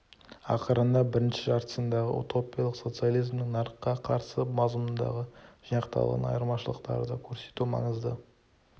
ақырында бірінші жартысындағы утопиялық социализмнің нарыққа қарсы мазмұнындағы жинақталған айырмашылықтарды көрсету маңызды